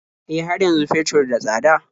E, har yanzu fetur da tsada.